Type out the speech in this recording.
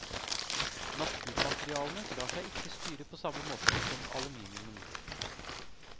Naturmaterialene lar seg ikke styre på samme måte som aluminiumen.